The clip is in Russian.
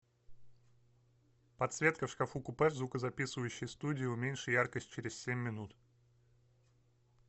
подсветка в шкафу купе в звукозаписывающей студии уменьши яркость через семь минут